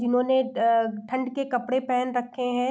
जिन्होंने अ ठंड के कपड़े पहन रखे हैं।